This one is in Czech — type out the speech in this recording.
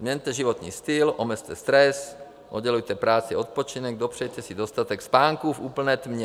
Změňte životní styl, omezte stres, oddělujte práci a odpočinek, dopřejte si dostatek spánku v úplné tmě.